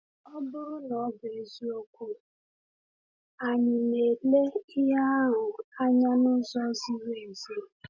Ọ bụrụ na ọ bụ eziokwu, anyị na-ele ihe ahụ anya n’ụzọ ziri ezi?